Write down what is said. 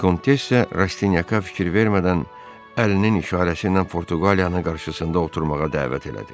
Vikontessya Rastyaka fikir vermədən Əlinin işarəsiylə Portuqaliyanın qarşısında oturmağa dəvət elədi.